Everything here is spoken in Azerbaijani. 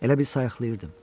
Elə bil səyaxlayırdım.